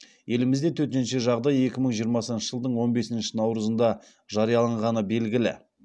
елімізде төтенше жағдай екі мың жиырмасыншы жылдың он бесінші наурызында жарияланғаны белгілі